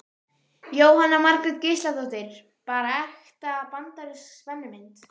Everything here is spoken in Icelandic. Jóhanna Margrét Gísladóttir: Bara ekta bandarísk spennumynd?